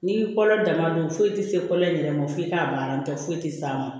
N'i kɔlɔn dama don foyi tɛ se kɔlɔn in yɛrɛ ma f'i k'a ban nton tɛ foyi tɛ s'a ma